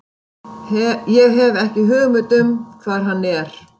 Ég hef ekki hugmynd um hvar hann er.